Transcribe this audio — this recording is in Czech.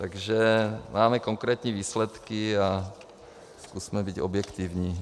Takže máme konkrétní výsledky a zkusme být objektivní.